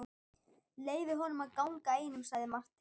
Leyfið honum að ganga einum, sagði Marteinn.